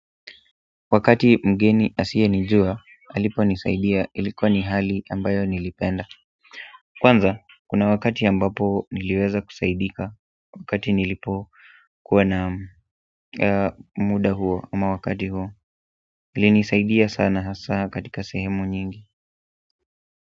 Wakati mgeni asiyenijua aliponisaidia ilikuwa ni hali ambayo nilipenda kwanza kuna wakati ambapo niliweza kusaidika wakati nilipokuwa na muda huo au wakati huo ilinisaidia sana hasa katika sehemu nyingi.